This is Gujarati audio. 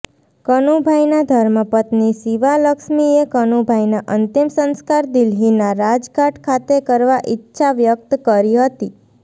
કનુભાઇના ધર્મપત્નિ શિવાલક્ષ્મીએ કનુભાઇના અંતિમ સંસ્કાર દિલ્હીના રાજધાટ ખાતે કરવા ઇચ્છા વ્યક્ત કરી હતી